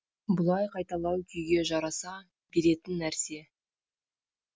бұлай қайталау күйге жараса беретін нәрсе